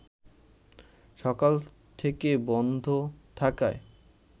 সকাল থেকে বন্ধ থাকায়